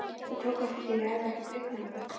Ég tók eftir að ég hafði ekkert augnaráð.